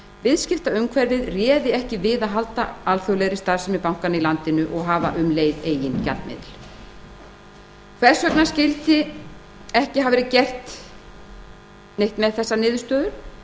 viðskiptaumhverfið réði ekki við að halda alþjóðlegri starfsemi bankanna í landinu og hafa um leið eigin gjaldmiðil hvers vegna skyldi ekki neitt hafa verið gert með þessa niðurstöðu